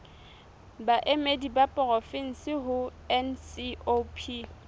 baemedi ba porofensi ho ncop